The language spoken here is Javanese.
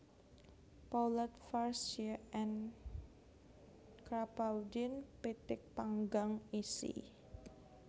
Poulet farcie en Crapaudine pitik panggang isi